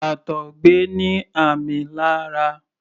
àtọgbẹ ní ààmì lára.